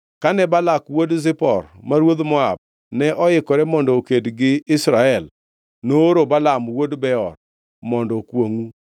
Kane Balak wuod Zipor, ma ruodh Moab, ne ikore mondo oked gi Israel, nooro Balaam wuod Beor mondo okwongʼu.